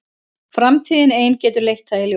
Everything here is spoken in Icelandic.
Framtíðin ein getur leitt það í ljós.